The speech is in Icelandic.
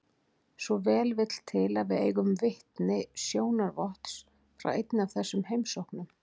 Svo vel vill til að við eigum vitni sjónarvotts frá einni af þessum heimsóknum.